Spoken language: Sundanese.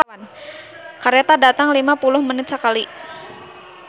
"Kareta datang lima puluh menit sakali"